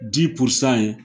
in